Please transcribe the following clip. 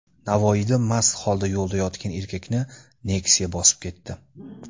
Navoiyda mast holda yo‘lda yotgan erkakni Nexia bosib ketdi.